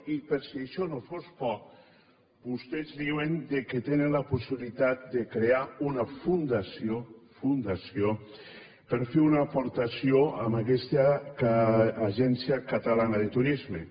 i per si això no fos poc vostès diuen que tenen la possibilitat de crear una fundació fundació per fer una aportació a aquesta agència catalana de turisme